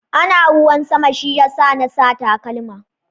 Ana ruwan sama shi ya sa na sa takalma.